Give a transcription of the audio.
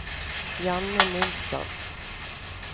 Janne Nilsson